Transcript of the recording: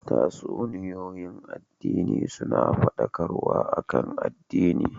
Tatsuniyoyin addini suna fadakarwa akan addini